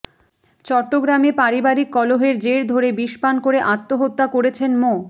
চট্টগ্রামে পারিবারিক কলহের জের ধরে বিষপান করে আত্মহত্যা করেছেন মো